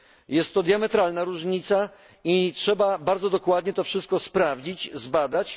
Jest to diametralna różnica i trzeba bardzo dokładnie wszystko sprawdzić i zbadać.